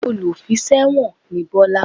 Olùfiṣẹ̀wọ̀n ni Bọ́lá